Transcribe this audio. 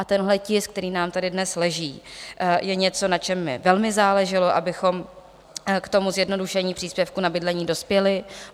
A tenhle tisk, který nám tady dnes leží, je něco, na čem mi velmi záleželo, abychom k tomu zjednodušení příspěvku na bydlení dospěli.